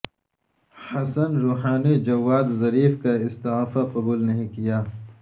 حسن Rouhani Javad Zarif کا استعفی قبول نہیں کیا